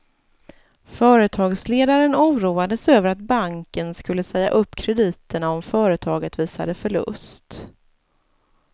Företagsledaren oroades över att banken skulle säga upp krediterna om företaget visade förlust.